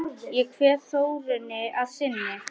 Ég kveð Þórunni að sinni.